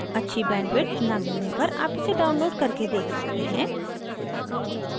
अच्छी bandwidth न मिलने पर आप इसे download करके देख सकते हैं